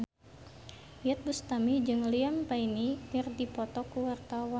Iyeth Bustami jeung Liam Payne keur dipoto ku wartawan